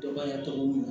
Dɔgɔya tɔw mun